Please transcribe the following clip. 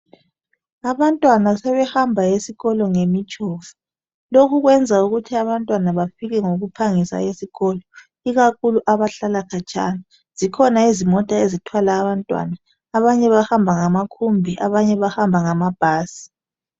Abantwana sebehamba esikolo ngemitshova, lokhu kwenza ukuthi abantwana bafike ngokuphangisa esikolo ikakhulu abahlala khatshana. Zikhona izimota ezithwala abantwana, abanye bahamba ngamakhombi abanye bahamba ngamabhasi